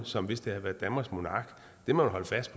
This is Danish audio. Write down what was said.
som hvis det havde været danmarks monark det må man holde fast